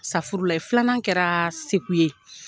Safurulayi. Filannan kɛra segu ye.